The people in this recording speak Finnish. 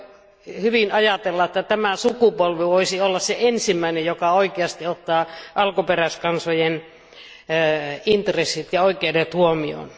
Voi hyvin ajatella, että tämä sukupolvi voisi olla se ensimmäinen, joka oikeasti ottaa alkuperäiskansojen intressit ja oikeudet huomioon.